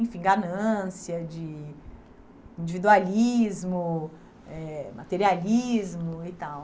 Enfim, ganância, de individualismo, eh materialismo e tal.